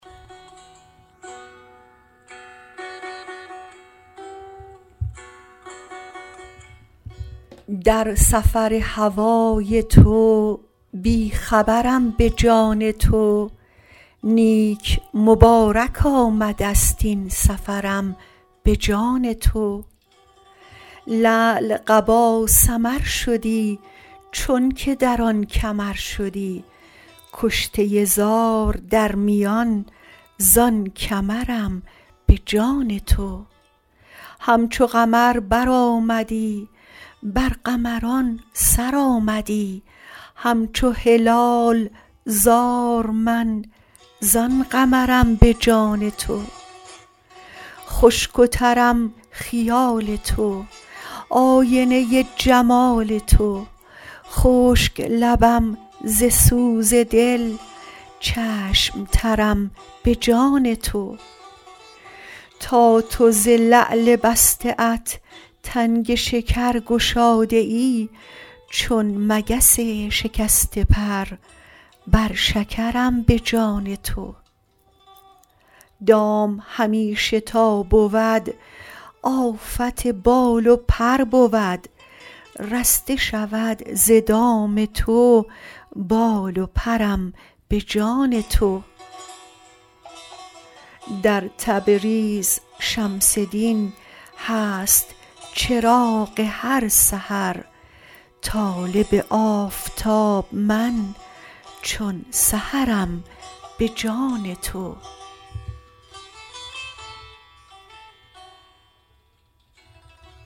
در سفر هوای تو بی خبرم به جان تو نیک مبارک آمده ست این سفرم به جان تو لعل قبا سمر شدی چونک در آن کمر شدی کشته زار در میان زان کمرم به جان تو همچو قمر برآمدی بر قمران سر آمدی همچو هلال زار من زان قمرم به جان تو خشک و ترم خیال تو آینه جمال تو خشک لبم ز سوز دل چشم ترم به جان تو تا تو ز لعل بسته ات تنگ شکر گشاده ای چون مگس شکسته پر بر شکرم به جان تو دام همیشه تا بود آفت بال و پر بود رسته شود ز دام تو بال و پرم به جان تو در تبریز شمس دین هست چراغ هر سحر طالب آفتاب من چون سحرم به جان تو